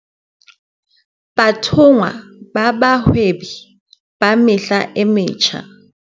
Bathonngwa ba Bahwebi ba Mehla e Metjha